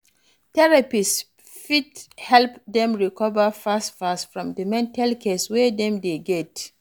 Therapist fit help dem recover fast fast from di mental case wey dem dey get